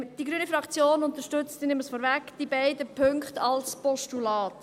Die Fraktion Grüne unterstützt die beiden Punkte als Postulat.